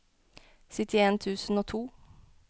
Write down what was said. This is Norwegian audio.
syttien tusen og to